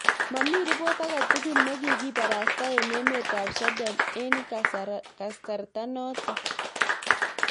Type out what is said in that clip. Mamii ribot ake tugul ne kigibarasta eng emet ab sweden eng kasartanoto